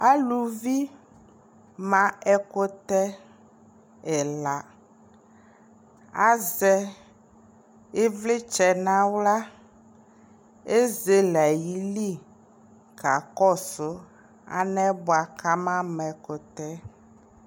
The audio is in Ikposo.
alʋvi ma ɛkʋtɛ ɛla azɛ ivlitsɛ nʋ ala ,ɛzɛlɛ ayili kakɔsʋ alɛnɛ bʋakʋ ama ma ɛkʋtɛ